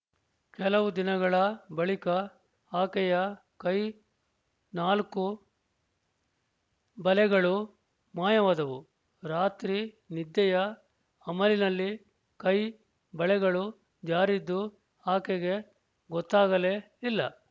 ಕೆಲವು ದಿನಗಳ ಬಳಿಕ ಆಕೆಯ ಕೈಯ ನಾಲ್ಕು ಬಲೆಗಳು ಮಾಯವಾದುವು ರಾತ್ರಿ ನಿದ್ದೆಯ ಅಮಲಿನಲ್ಲಿ ಕೈಯ ಬಳೆಗಳು ಜಾರಿದ್ದು ಆಕೆಗೆ ಗೊತ್ತಾಗಲೇ ಇಲ್ಲ